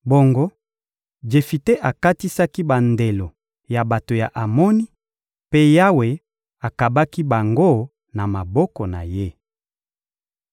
Bongo Jefite akatisaki bandelo ya bato ya Amoni, mpe Yawe akabaki bango na maboko na ye.